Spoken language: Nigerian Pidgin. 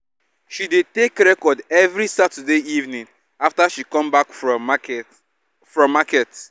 she dey take record every saturday evening after she come back from market from market